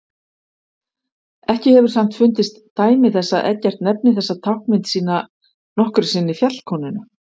Ekki hefur samt fundist dæmi þess að Eggert nefni þessa táknmynd sína nokkru sinni fjallkonuna.